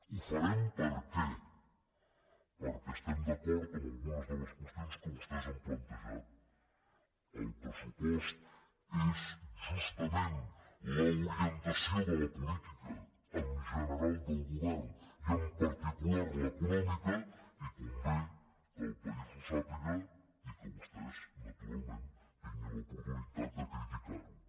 ho farem per què perquè estem d’acord amb algunes de les qüestions que vostès han plantejat el pressupost és justament l’orientació de la política en general del govern i en particular l’econòmica i convé que el país ho sàpiga i que vostès naturalment tinguin l’oportunitat de criticar ho